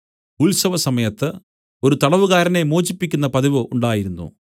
ഉത്സവസമയത്ത് ഒരു തടവുകാരനെ മോചിപ്പിക്കുന്ന പതിവ് ഉണ്ടായിരുന്നു